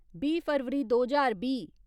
बीह् फरवरी दो ज्हार बीह्